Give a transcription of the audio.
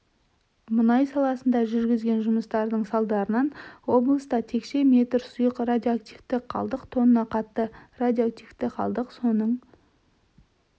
мұнай саласында жүргізген жұмыстарының салдарынан облыста текше метр сұйық радиоактивті қалдық тонна қатты радиоактиквті қалдық соның